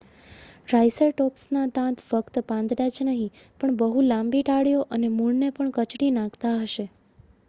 ટ્રાયસરટૉપ્સના દાંત ફક્ત પાંદડાં જ નહીં પણ બહુ લાંબી ડાળીઓ અને મૂળને પણ કચડી નાખી શકતા હશે